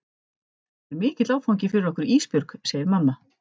Þetta er mikill áfangi fyrir okkur Ísbjörg, segir mamma.